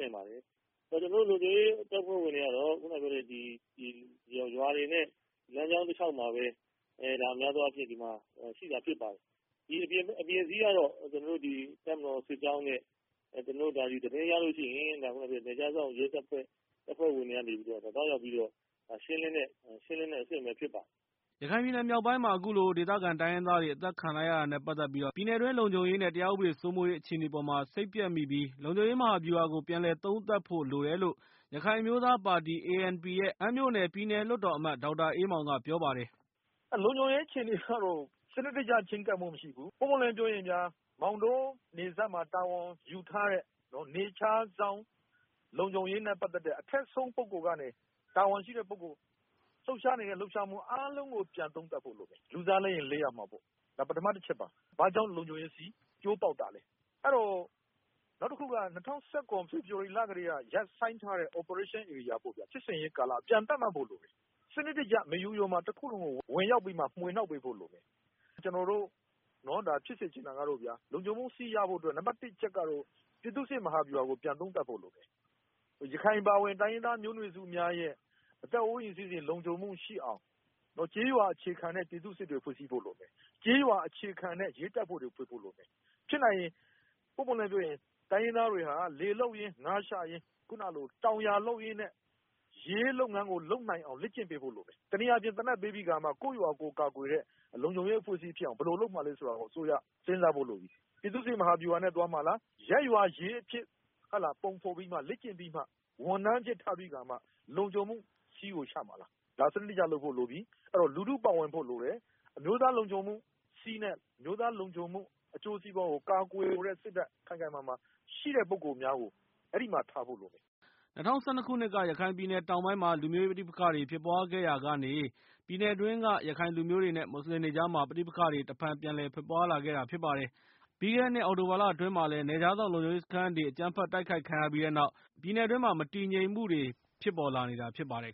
နေပါတယ်။ ကျနော်တို့လုံခြုံရေးတပ်ဖွဲ့ဝင်တွေကတော့ ရွာတွေနဲ့ လမ်းကြောင်း တလျောက်မှာပဲ ရှိတာဖြစ်ပါတယ်။ အပြင်စည်းကတော့ ကျနော်တို့ တပ်မတော်စစ်ကြောင်းနဲ့ သတင်းရလို့ရှိရင် နယ်ခြားစောင့်တပ် တပ်ဖွဲ့ဝင်တွေကနေ သွားရောက်ပြီးတော့ ရှင်းလင်းတဲ့အဆင့်ဖြစ်ပါတယ်။ " ရခိုင်ပြည်နယ်မြောက်ပိုင်းမှာ အခုလို ဒေသခံတိုင်းရင်းသားတွေ အသတ်ခံလိုက်ရတာ နဲ့ ပတ်သက်ပြီး ပြည်နယ်တွင်း လုံခြုံရေး နဲ့ တရားဥပဒေစိုးမိုးရေး အခြေအနေအပေါ်မှာ စိတ်ပျက်မိပြီး၊ လုံခြုံရေးမဟာဗျူဟာကို ပြန်လည်သုံးသပ်ဖို့လိုတယ်လို့ ရခိုင်အမျိုးသားပါတီ ANP ရဲ့အမ်းမြို့နယ် ပြည်နယ်လွှတ်တော်အမတ် ဒေါက်တာအေးမောင်က ပြောပါတယ်။ "လုံခြုံရေးအခြေအနေကတော့ စနစ်တကျချဉ်းကပ်မှုမရှိဘူး ပွင့်ပွင့်လင်းလင်း ပြောရင်ဗျာ မောင်တောနယ်စပ်မှာ တာဝန်ယူထားတဲ့ နယ်ခြားစောင့်တပ်နဲ့ပတ်သက်တဲ့ အထက်ဆုံးပုဂ္ဂိုလ်ကနေ တာဝန်ရှိတဲ့သူအားလုံးကို ပြန်သုံးသပ်ဖို့လိုမယ်။ လူစားလဲရင် လဲရမှာပေါ့ ဘာကြောင့် လုံခြုံရေးစည်းကျိုးပေါက်တာလဲ ပထမတချက်ပေါ့။ နောက်တခုက၂၀၁၇ ဖေဖော်ဝါရီလကတည်းက ရပ်ဆိုင်းထားတဲ့ စစ်ဆင်ရေး ဧရိယာပြန်သတ်မှတ်ဖို့လိုတယ်။ စနစ်တကျ မေယုတခုလုံးကို ဝင်ရောက်မွှေနှောက်ပေးဖို့လိုတယ်။ ကျနော်တို့ လုံခြုံမှုစည်းရဖို့အတွက် နံပတ်တစ် တချက်ကတော့ ပြည်သူ့စစ်မဟာဗျူဟာကို ပြန်သုံးသပ်ဖို့လိုတယ် ရခိုင်အပါအဝင် တိုင်းရင်းသားမျိုးနွယ်စုများရဲ့ အသက်အိုးအိမ်လုံခြုံမှုရှိအောင် ကျေးရွာ အခြေခံတဲ့ပြည်သူ့စစ်တွေ ဖွဲ့စည်းဖို့လိုတယ်။ ကျေးရွာအခြေခံတဲ့ရဲတပ်ဖွဲ့တွေ လိုတယ်။ ဖြစ်နိုင်ရင် ပွင့်ပွင့်လင်းလင်းပြောရင် တိုင်းရင်းသားတွေဟာ လယ်လုပ်ရင်း ငါးရှာရင်း တောင်ယာလုပ်ရင်းနဲ့ ရဲလုပ်ငန်းကို လုပ်နိုင်အောင် လေ့ကျင့်ပေးဖို့လိုတယ်။ တနည်းအားဖြင့် သေနတ်ပေးပြီး ကိုယ့်ရွာကိုယ်ကာကွယ်တဲ့ လုံခြုံရေး အဖွဲ့အစည်းဖြစ်အောင် ဘယ်လိုလုပ်မှာလဲဆိုတာ အစိုးရ စဉ်းစားဖို့လိုပြီ။ ပြည်သူ့စစ်မဟာဗျူဟာနဲ့သွားမှာလား ရပ်ရွာရဲအဖြစ် ပုံဖော်ပြီးလေ့ကျင့်ပြီးမှ ဝန်ထမ်းအဖြစ် ထားပြီးကာမှ လုံခြုံမှု စည်းကိုချမှာလား ဒါကို စနစ်တကျ လုပ်ဖို့လိုပြီ။ အဲ့တော့ လူထုပါဝင်ဖို့လိုပြီ အဲ့တော့ အမျိုးသားလုံခြုံမှုစည်းနဲ့ အမျိုးသားလုံခြုံမှုကို ကာကွယ်လိုတဲ့စစ်ဓာတ် ခိုင်ခိုင်မာမာရှိတဲ့ပုဂ္ဂိုလ်များ အဲ့ဒီမှာ ထားဖို့လိုမယ်။" ၂၀၁၂ ခုနှစ်က ရခိုင်ပြည်နယ်တောင်ပိုင်းမှာ လူမျိုးရေး ပဋိပက္ခတွေ ဖြစ်ပွားခဲ့ရာကနေ ပြည်နယ်အတွင်းက ရခိုင်လူမျိုးတွေ နဲ့ မွတ်စလင်တွေကြား ပဋိပက္ခတွေ တဖန်ပြန်လည်ဖြစ်ပွားလာခဲ့တာဖြစ်ပါတယ်။ ပြီးခဲ့တဲ့နှစ်အောက်တိုဘာလတွင်းမှာလည်း နယ်ခြားစောင့်လုံခြုံရေးစခန်းတွေကို အကြမ်းဖက် တိုက်ခိုက်ခံခဲ့ရပြီးနောက် မတည်မငြိမ်အခြေအနေတွေနဲ့ ကြုံနေရတာ ဖြစ်ပါတယ်